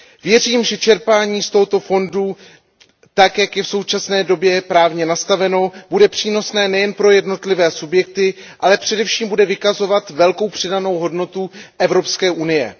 Věřím, že čerpání z tohoto fondu, tak jak je v současné době právně nastaveno, bude přínosné nejen pro jednotlivé subjekty, ale především bude vykazovat velkou přidanou hodnotu Evropské unie.